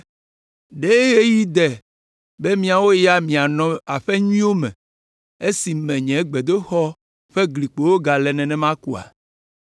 “Ɖe ɣeyiɣi de be miawo ya mianɔ aƒe nyuiwo me esi nye gbedoxɔ ƒe glikpowo gale nenema koa?”